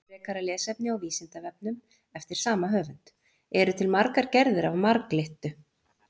Frekara lesefni á Vísindavefnum eftir sama höfund: Eru til margar gerðir af marglyttu?